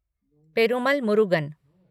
Perumal Murugan